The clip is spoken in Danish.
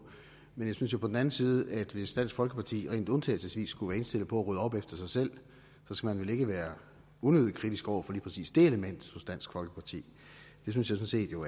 men jeg synes jo på den anden side at hvis dansk folkeparti rent undtagelsesvis skulle være indstillet på at rydde op efter sig selv så skal man vel ikke være unødigt kritisk over for lige præcis det element hos dansk folkeparti det synes jeg jo